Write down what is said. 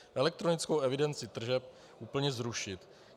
Elektronickou evidenci tržeb úplně zrušit.